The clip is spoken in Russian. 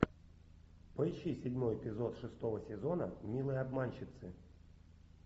поищи седьмой эпизод шестого сезона милые обманщицы